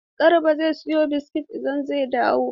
Garba zai siyo biskit idan zai dawo.